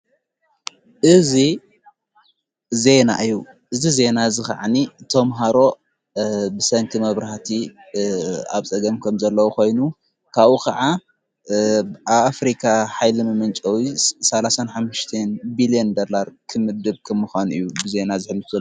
እዝ ዜና እዩ እዝ ዜና ኸዕኒ ቶምሃሮ ብሳይንቲ መብራህቲ ኣብ ጸገም ከም ዘለዉ ኾይኑ ካኡ ኸዓ ኣብኣፍሪካ ኃይሊሚ ምንጨዊ ሠሓን ብልዮን ደላር ክምድብ ክምዃኑ እዩ ብዘና ዘፍሊጡ